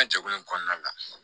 An ka jɛkulu in kɔnɔna la